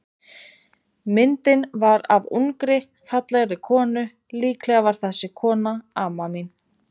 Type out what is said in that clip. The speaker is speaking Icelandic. Myndin var af ungri, fallegri konu, líklega var þessi kona amma mín.